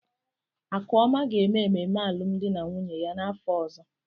Akụọma ga-eme ememe alụmdi na nwunye ya n'afọ ọzọ.